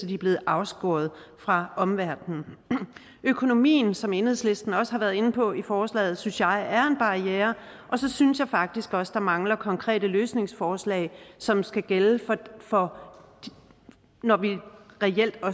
de er blevet afskåret fra omverdenen økonomien som enhedslisten også har været inde på i forslaget synes jeg er en barriere og så synes jeg faktisk også at der mangler konkrete løsningsforslag som skal gælde når når vi reelt